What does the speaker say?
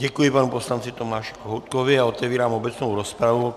Děkuji panu poslanci Tomáši Kohoutkovi a otevírám obecnou rozpravu.